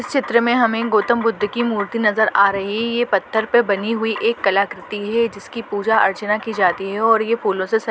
इस चित्र में हमें गौतम बुद्ध की मूर्ति नज़र आ रही है यह पत्थर पर बनी हुई एक कलाकृति है जिसकी पूजा अर्चना की जाती है और ये फूलों सजी--